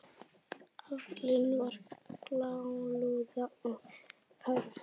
Aflinn var grálúða og karfi.